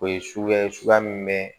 O ye suguya ye suguya min bɛ